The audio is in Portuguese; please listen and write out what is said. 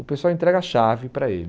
O pessoal entrega a chave para ele.